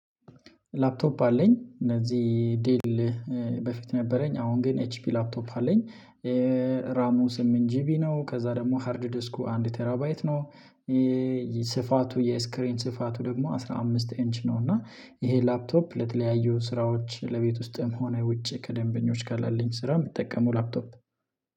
ላፕቶፕ አለኝ እነዚህ ዴል በፊት ነበረኝ አሁን ግን ኤች ፒ ላፕቶፕ አለኝ። ራሙ ስምንት ጂቢ ነው ከዛ ደግሞ ሃርድ ዲስኩ አንድ ቴራባይት ነው። ስፋቱ የስክሪን ስፋቱ ደግሞ አስራ አምስት ኢንች ነው። እና ይሄ ላፕቶፕ ለተለያዩ ስራዎች ለቤት ውስጥም ሆነ ውጪ ከደንበኞችጋ ላለኝ ስራ የምጠቀመው ላፕቶፕ